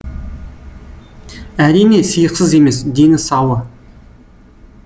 әрине сиықсыз емес дені сауы